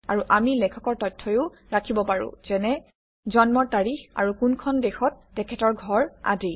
আৰু আমি লেখকৰ তথ্যও ৰাখিব পাৰোঁ যেনে - জন্মৰ তাৰিখ আৰু কোনখন দেশত তেখেতৰ ঘৰ আদি